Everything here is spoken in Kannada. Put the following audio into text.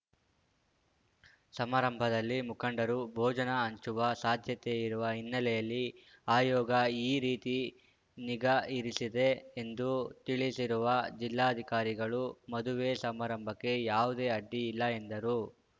ಸಮಾರಂಭದಲ್ಲಿ ಮುಖಂಡರು ಭೋಜನ ಹಂಚುವ ಸಾಧ್ಯತೆ ಇರುವ ಹಿನ್ನೆಲೆಯಲ್ಲಿ ಆಯೋಗ ಈ ರೀತಿ ನಿಗಾ ಇರಿಸಿದೆ ಎಂದು ತಿಳಿಸಿರುವ ಜಿಲ್ಲಾಧಿಕಾರಿಗಳು ಮದುವೆ ಸಮಾರಂಭಕ್ಕೆ ಯಾವುದೇ ಅಡ್ಡಿ ಇಲ್ಲ ಎಂದರು